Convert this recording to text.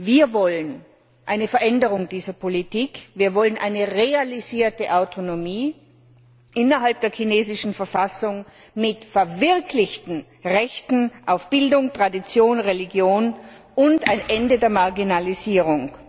Wir wollen eine Veränderung dieser Politik, wir wollen eine realisierte Autonomie innerhalb der chinesischen Verfassung mit verwirklichten Rechten auf Bildung, Tradition, Religion und ein Ende der Marginalisierung.